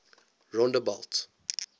rondebult